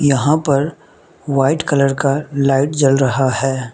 यहां पर white colour का लाइट जल रहा है।